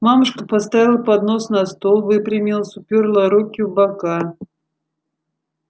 мамушка поставила поднос на стол выпрямилась упёрла руки в бока